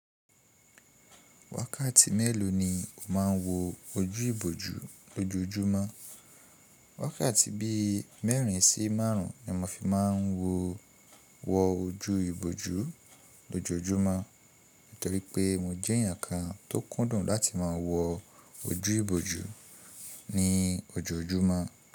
Wákàtí mélòó ni o máa ń wo ojú ìbòjú lójoójúmọ́? Wákàtí bí i mẹ́rin sí márùn-ún ni mo fi máa ń wo wọ ojú ìbòjú lójoójúmọ́, nítorí pé mo jẹ́ èèyàn kan tó kúndùn láti máa wọ ojú ìbòjú ní ojoójúmọ́.